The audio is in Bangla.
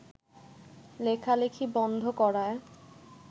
লেখালেখি বন্ধ করার